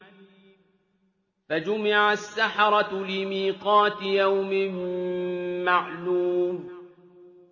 فَجُمِعَ السَّحَرَةُ لِمِيقَاتِ يَوْمٍ مَّعْلُومٍ